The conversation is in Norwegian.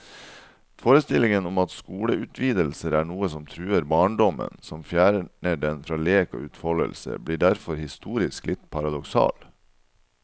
Forestillingen om at skoleutvidelser er noe som truer barndommen, som fjerner den fra lek og utfoldelse, blir derfor historisk litt paradoksal.